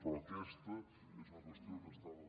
però aquesta és una qüestió que estava